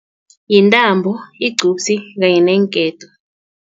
Yintambo, igcubusi kanye neenketo.